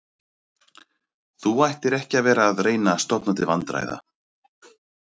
Þú ættir ekki að vera að reyna að stofna til vandræða